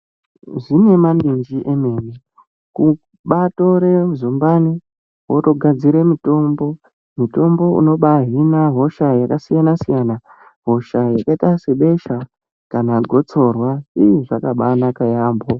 Zvine manenji emene, kubatore zumbani wotogadzire mutombo, mutombo unobahi a hosha yakasiyana -siyana yakaita sebesha kana gosorwa ih zvakabanaka yaamho.